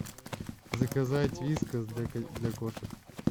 заказать вискас для кошек